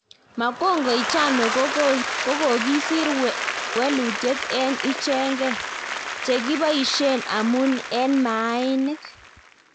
magongo ichano kokokisir welut en ichenge."chekipaishen amun en mainik